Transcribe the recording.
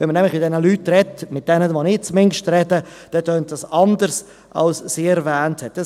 Wenn man nämlich mit diesen Leuten spricht, tönt es zumindest bei jenen, mit denen ich spreche anders, als sie erwähnt hat.